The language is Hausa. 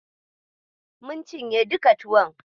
Mun cinye duka tuwon.